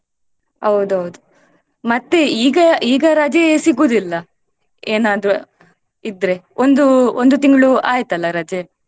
ಹೌದೌದು ಮತ್ತೆ ಈಗ ಈಗ ರಜೆ ಸಿಗೋದಿಲ್ಲ ಏನಾದ್ರೂ ಇದ್ರೆ ಒಂದು ಒಂದು ತಿಂಗ್ಳು ಆಯ್ತಲ್ಲ ರಜೆ.